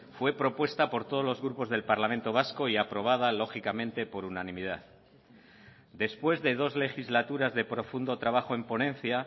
fue propuesta por todos los grupos del parlamento vasco y aprobada lógicamente por unanimidad después de dos legislaturas de profundo trabajo en ponencia